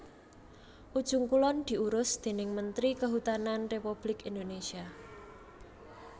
Ujung Kulon diurus déning mentri Kehutanan Républik Indonésia